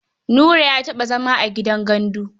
Nura ya taɓa zama a gidan gandu.